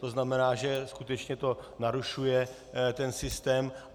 To znamená, že skutečně to narušuje ten systém.